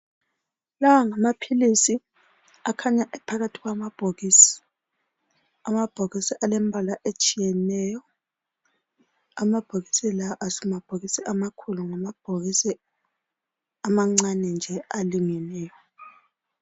Lawa ngamaphilisi akhanya ephakathi kwamabhokisi. Amabhokisi alembala etshiyeneyo. Amabhokisi la asimabhokisi amakhulu ngamabhokisi amancane nje alingeneyo.